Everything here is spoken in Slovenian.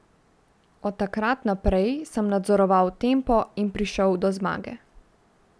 Od takrat naprej sem nadzoroval tempo in prišel do zmage.